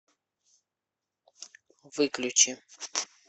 выключи